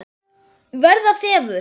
Verða þefur.